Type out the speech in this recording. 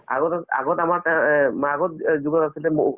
আগত আছ আগত আমাৰ তে এহ্ আগত যুগত আচলতে mo